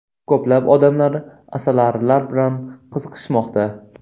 Ko‘plab odamlar asalarilar bilan qiziqishmoqda.